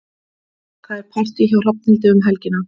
Það er partí hjá Hrafnhildi um helgina.